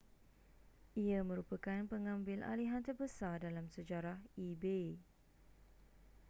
ia merupakan pengambilalihan terbesar dalam sejarah ebay